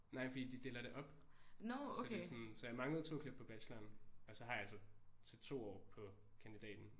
Nej fordi de deler det op så det er sådan så jeg manglede 2 klip på bacheloren og så har jeg så til 2 år på kandidaten